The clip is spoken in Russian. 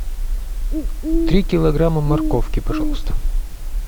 три килограмма морковки пожалуйста